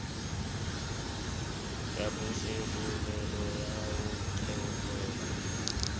ya bosebolelo ya ho qhelela